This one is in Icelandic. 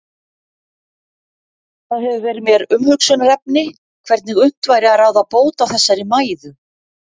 Það hefur verið mér umhugsunarefni hvernig unnt væri að ráða bót á þessari mæðu.